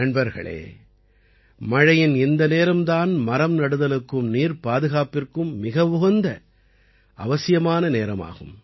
நண்பர்களே மழையின் இந்த நேரம் தான் மரம் நடுதலுக்கும் நீர்ப்பாதுகாப்பிற்கும் மிக உகந்த அவசியமான நேரம் ஆகும்